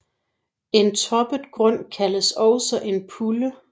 En toppet grund kaldes også en pulle